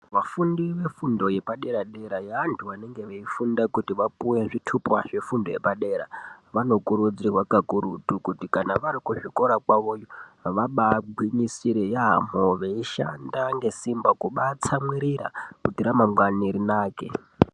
Vafundi vefundo yepadera dera yevanhu vanenge veifunda kuti vapuwe zvitupa zvefundo yepadera vanokudzirwa kakurutu kuti kana varikuzvikora kwawoyo vabaagwinyisire yaamho veishanda ngesimba kubaatsamwiririra kuti ramangwana rinake.